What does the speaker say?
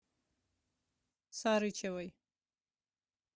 сарычевой